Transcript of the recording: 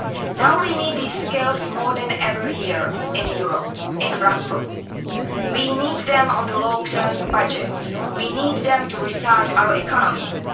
Now we need these skills more than ever here in Europe, in Brussels. We need them on the long term budget and we need them to restart our economies.